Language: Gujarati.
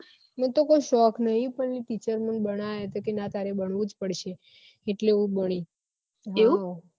મન તો કોઈ શોખ નહી પણ teacher એ મન બનાયા કે તારે બનવું જ પડશે એટલે હું બની